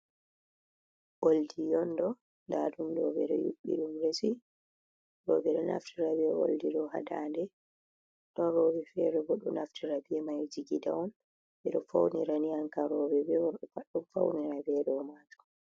Oldi onɗo, ndaɗum do ɓeɗo yuɓɓiɗum resi, roɓe ɗo naftira be oldi do hadande, don robe fere bo ɗo naftira be mai ha jigida on, beɗo faunira ankam roɓe be worɓe pat ɗo faunira be ɗoman.